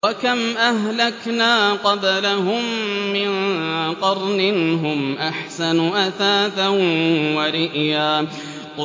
وَكَمْ أَهْلَكْنَا قَبْلَهُم مِّن قَرْنٍ هُمْ أَحْسَنُ أَثَاثًا وَرِئْيًا